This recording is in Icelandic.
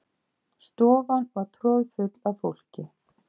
Stofan var troðfull af fólki.